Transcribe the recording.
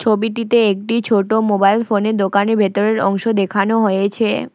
ছবিটিতে একটি ছোট মোবাইল ফোনের দোকানের ভেতরের অংশ দেখানো হয়েছে।